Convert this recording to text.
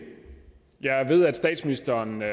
jeg ved at statsministeren ved